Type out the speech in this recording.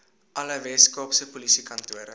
alle weskaapse polisiekantore